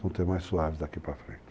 suave daqui para frente.